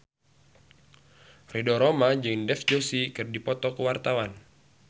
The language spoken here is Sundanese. Ridho Roma jeung Dev Joshi keur dipoto ku wartawan